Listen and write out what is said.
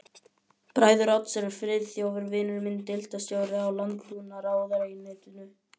Bræður Odds eru Friðþjófur vinur minn, deildarstjóri í landbúnaðarráðuneytinu